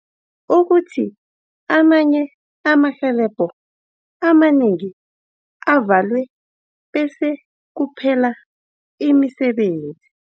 ukuthi amanye amarhwebo amanengi avalwe bese kuphela imisebenzi.